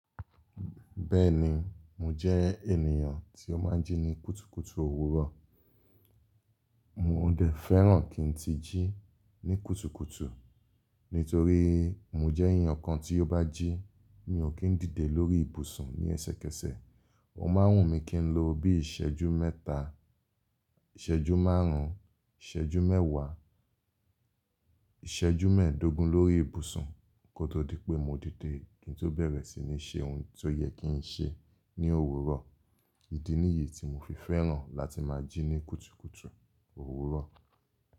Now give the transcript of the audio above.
Bẹ́ẹ̀ni, mo jẹ́ ènìyàn tí ó máa ń jí ní kùtùkùtù òwúrọ̀. Mò ń dẹ̀ fẹ́ràn kí n ti jí ní kùtùkùtù, nítorí mo jẹ́ èyán kan tí ó bá jí, mi ò kí ń dìde lórí ibùsùn ní ẹsẹkẹsẹ. O máa ń wùn mí kí n lo bí ìṣẹ́jú mẹ́ta, ìṣẹ́jú márùn-ún, ìṣẹ́jú mẹ́wàá, ìṣẹ́jú mẹ́ẹ̀dógún lórí ibùsùn kó tó di pé mo dìde kí n tó bẹ̀rẹ̀ sí ní ṣe ohun tó yẹ kí n ṣe ní òwúrọ̀. Ìdí nìyí tí mo fi fẹ́ràn láti máa jí ní kùtùkùtù òwúrọ̀.